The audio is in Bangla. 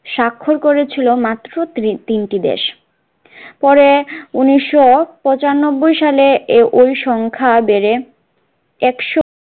স্বাক্ষর করে ছিল মাত্র তি তিনটি দেশ পরে উনিশশো পঁচানব্বই সালে এ ঐ সংখ্যা বেড়ে একশো